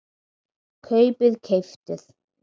kaupið- keyptuð